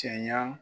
Cɛ ɲa